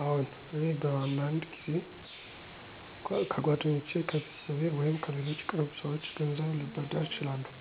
አዎን፣ እኔ በአንዳንድ ጊዜ ከጓደኞቼ፣ ከቤተሰቤ ወይም ከሌሎች ቅርብ ሰዎች ገንዘብ ልበድር እችላለሁ።